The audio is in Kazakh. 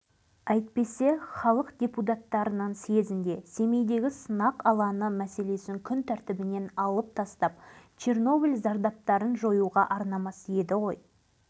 былтыр менің қойым қоздады биыл бием құлындады қарасам құлынның денесінде бірде-бір сүйек жоқ міне біздегі зобалаңның